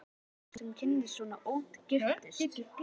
Það er sjaldgæft að fólk, sem kynnist svona ungt, giftist.